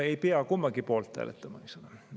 No ei pea kummagi poolt hääletama, eks ole.